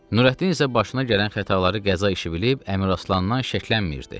Nurəddin isə başına gələn xətaları qəza işi bilib Əmiraslandan şəklənmirdi.